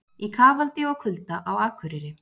Í kafaldi og kulda á Akureyri